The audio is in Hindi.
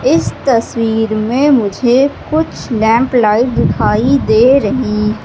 इस तस्वीर में कुछ लैंप लाइट दिखाई दे रही--